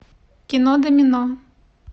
кино домино